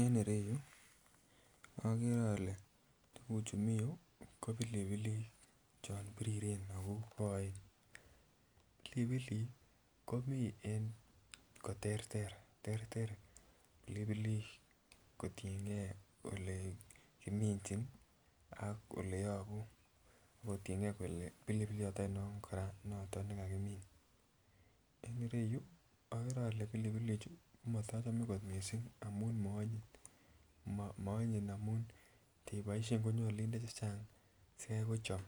En ireyu okere ole tuguchu mi yuu ko pilipilik chon biriren ago koen, pilipilik komii en koterter terter kotiengee ole kimichin ak ole yobuu ak kotiengee kolee bilbliot oinon koraa noton ne kakimin. En ireyu ogere pilipilichu ko motochome kot missing amun moonyin, moonyin amun itiboishen konyoluu indee chechang asigai kochom